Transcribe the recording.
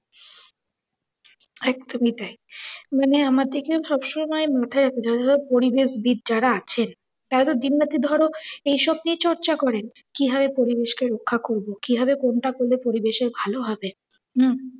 একদমই তাই। মানে আমাদেরকে সব সময় মাথায় ধরো পরিবেশবিদ যারা আছেন তারা তো দিন রাত্রি ধরো এই সব নিয়েই চর্চা করে কিভাবে পরিবেশকে রক্ষা করবো, কি ভাবে কোনটা করলে পরিবেশের ভালো হবে হম